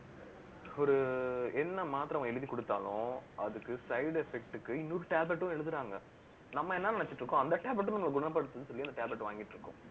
ஒரு என்ன மாத்திரை அவன் எழுதிக் கொடுத்தாலும் அதுக்கு side effect க்கு, இன்னொரு tablet ம் எழுதறாங்க நம்ம என்ன நினைச்சிட்டு இருக்கோம் அந்த tablet ம், நம்மளை குணப்படுத்தும்ன்னு சொல்லி, அந்த tabletஅ வாங்கிட்டு இருக்கோம்